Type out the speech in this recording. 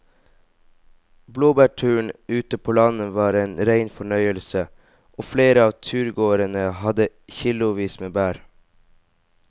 Blåbærturen ute på landet var en rein fornøyelse og flere av turgåerene hadde kilosvis med bær.